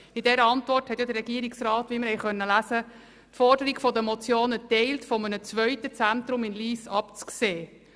In dieser Antwort teilt der Regierungsrat die Forderung der beiden Motionen, von einem zweiten Zentrum in Lyss abzusehen.